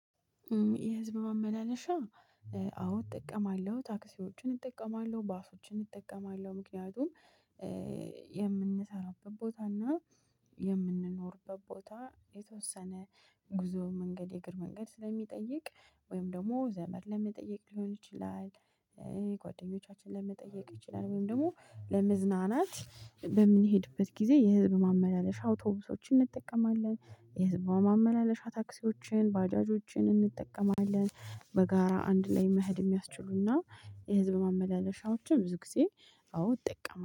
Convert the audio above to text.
የህዝብ ማመላለሻ አዎ እጠቀማለሁ ታክሲዎችን እጠቀማለሁ ባሶችን እጠቀማለሁ ምክንያቱም የምንሰራበት ቦታ እና የምንኖርበት ቦታ የተወሰነ ጉዞ መንገድ የእግር መንገድ ስለሚጠይቅ ወይም ደግሞ ዘመድ ለመጠየቅ ሊሆን ይችላል። ጓደኞቻችን ለመጠየቅ ይችላል ወይም ደግሞ ለመዝናናት በምንሄድበት ጊዜ የህዝብ ማመላለሻ አውቶቡሶችን እንጠቀማለን። የህዝቧ ማመላለሻ ታክሲዎችን ባጃጆችን እንጠቀማለን። በጋራ አንድ ላይ መሄድ የሚያስችሉና የህዝብ ማመላለሻዎችም ብዙ ጊዜ አዎ እጠቀማ